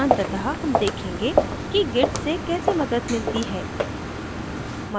अंततः हम देखेंगे कि git से कैसे मदद मिलती है